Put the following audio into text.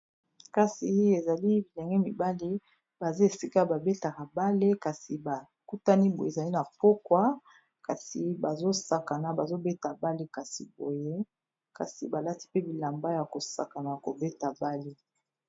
Kasi ezali bilenge mibali baza esika ba betaka bale kasi ba kutani boye ezali na pokwa kasi bazo sakana bazo beta bale kasi boye kasi balati pe bilamba yako sakana kobeta bale.